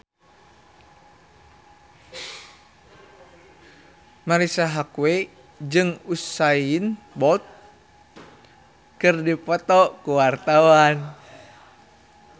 Marisa Haque jeung Usain Bolt keur dipoto ku wartawan